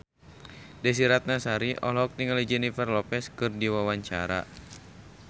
Desy Ratnasari olohok ningali Jennifer Lopez keur diwawancara